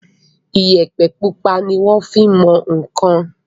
Iyẹ̀pẹ̀ pupa ni wọ́n fin mọ nǹkan.